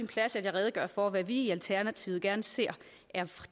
plads at jeg redegør for hvad vi i alternativet gerne ser er